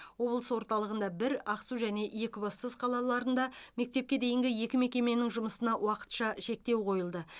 облыс орталығында бір ақсу және екібастұз қалаларында мектепке дейінгі екі мекеменің жұмысына уақытша шектеу қойылды